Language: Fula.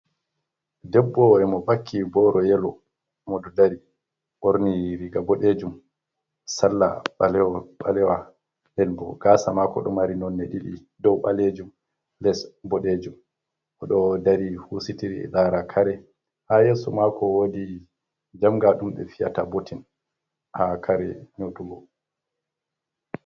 Debbo modo vakki boro yelo, mo do dari morni riga bodejum salla ɓalewa el bo gasa mako dumari nonne didi dou balejum les bodejum odo dari husitir lara kare hayesu mako wodii jamga dumbe fiyata botin ha kare nyotugo.